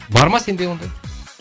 бар ма сенде ондай